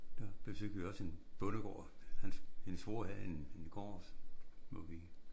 Der besøgte vi også en bondegård hans hendes svoger havde en en gård hvor vi